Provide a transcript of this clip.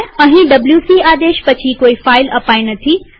અહીં ડબ્લ્યુસી આદેશ પછી કોઈ ફાઈલ અપાઈ નથી